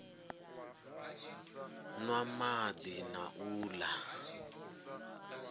nwa madi na u la